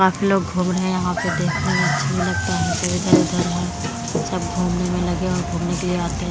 काफी लोग घूम रहे हैं यहां पे देखने में अच्छा भी लगता है सब इधर-उधर है सब घूमने में लगे हुए घूमने के लिए आते हैं।